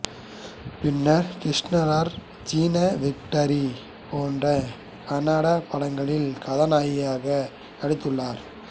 பின்னர் கிருஷ்ணார்ஜுனா விக்டரி போன்ற கன்னடப் படங்களில் கதாநாயகியாக நடித்துள்ளார்